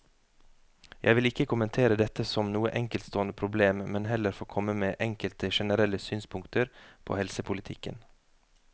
Jeg vil ikke kommentere dette som noe enkeltstående problem, men heller få komme med enkelte generelle synspunkter på helsepolitikken.